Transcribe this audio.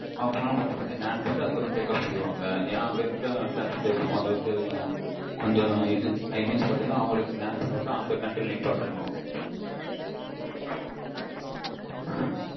half and hour மட்டும் land பண்ணிட்டு take off பண்ணிடுவாங்க ஏன்னா அங்க இருக்க passenger க்கும் கொஞ்சம் time fix பண்ணி அந்த country யில் நிப்பாட்டனும்.